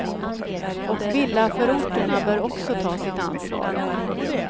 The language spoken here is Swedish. Och villaförorterna bör också ta sitt ansvar.